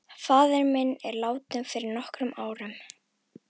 Faðir minn er látinn fyrir nokkrum árum.